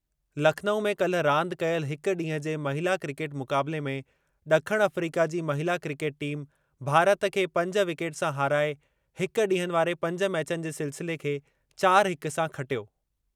लखनऊ में काल्हि रांदि कयल हिक ॾींहुं जे महिला क्रिकेट मुक़ाबले में ॾखण अफ़्रीका जी महिला क्रिकेट टीम भारत खे पंज विकेट सां हाराए हिक ॾींहनि वारे पंज मैचनि जे सिलसिले खे चार हिक सां खटियो।